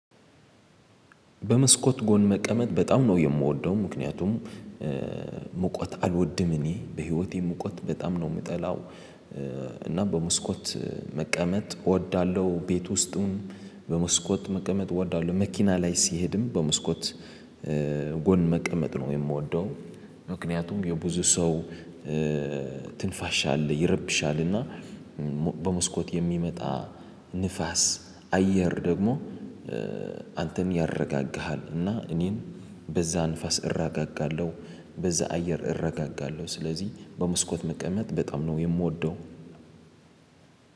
በመስኮት ጎን መቀመጥ በጣም ነው የምወደው ምክንያቱም ሙቀት አልወድም እኔ በህይወቴ ሙቀት በጣም ነው የምጠላው። እና በመስኮት መቀመጥ እወዳለሁ ቤት ውስጡም በመስኮት መቀመጥ እወዳለሁ። መኪና ላይ ሲሄድም በመስኮት ጎን መቀመጥ ነው የምወደው። ምክንያቱም የብዙ ሰው ትንፋሻ አለ ይረብሻልና። በመስኮት የሚመጣ ንፋስ አየር ደግሞ አንተም ያረጋግሃል እና እኔን በዛ ንፋስ እረጋጋለሁ። በዛ አየር እረጋጋለሁ ስለዚህ በመስኮት መቀመጥ በጣም ነው የምወደው።